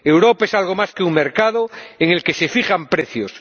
Europa es algo más que un mercado en el que se fijan precios